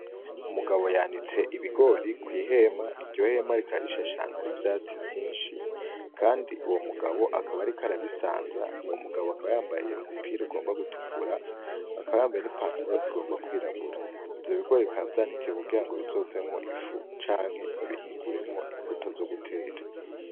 Umugabo yanitse ibigori kwi hema, iryo hema rikaba rishashe ahantu hari ivyatsi vyinshi kandi uwo mugabo akaba ariko arabisanza, uwo mugabo akaba yambaye umupira ugomba gutukura akaba yambaye n'ipantaro igomba kwirabura, ivyo bigori bikaba vyanikiye kugirango bizovemwo ifu canke babihinguremwo imbuto zo gutera .